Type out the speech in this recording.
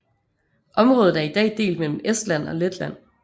Området er i dag delt mellem Estland og Letland